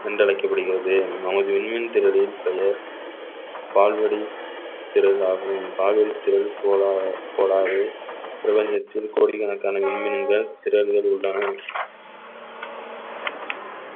என்று அழைக்கப்படுகிறது நமது விண்மீன் திறனின் பெயர் பால்வடி திரளாகவும் பால் வழி திறன் கோளா~கோளாறு பிரபஞ்சத்தில் கோடிக்கணக்கான விண்மீன்கள் திறல்கள் உள்ளன